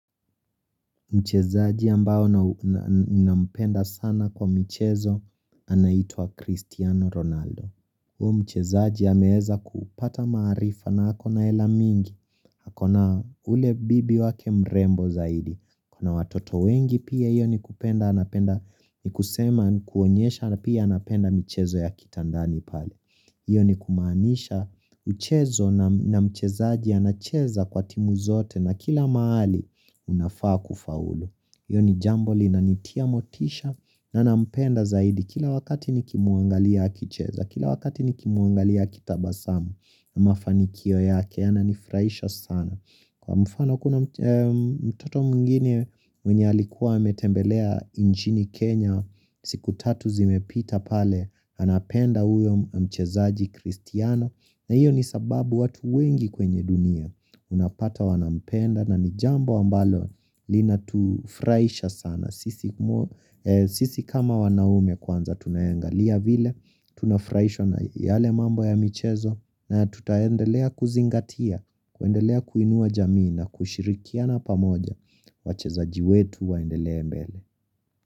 Mchezaji ambao na mpenda sana kwa michezo, anaitwa Cristiano Ronaldo. Huyo mchezaji hameeza kupata maarifa na ako na hela mingi, ako na ule bibi wake mrembo zaidi. Ana watoto wengi pia hiyo ni kupenda anapenda, ni kusema kuonyesha na pia anapenda mchezo ya kitandani pale. Iyo ni kumaanisha mchezo na mchezaji anacheza kwa timu zote na kila mahali unafaa kufaulu. Iyo ni jambo linanitia motisha na nampenda zaidi kila wakati nikimuangalia akicheza kila wakati nikimuangalia akitabasamu mafanikio yake yananifuraisha sana. Kwa mfano kuna mtoto mwingine mwenye alikuwa ametembelea nchini Kenya siku tatu zimepita pale anapenda uyo mchezaji kristiano na iyo ni sababu watu wengi kwenye dunia unapata wanampenda na ni jambo ambalo linatufuraisha sana sisi. Sisi kama wanaume kwanza tunaangalia vile Tunafraishwa na yale mambo ya michezo na tutaendelea kuzingatia kuendelea kuinua jamii na kushirikiana pamoja wachezaji wetu waendelee mbele.